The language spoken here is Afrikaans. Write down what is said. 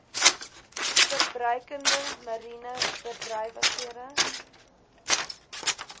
verbruikende mariene bedrywighede